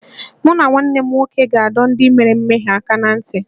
Mụ na nwanne m nwoke ga-adọ ndị mere mmehie aka ná ntị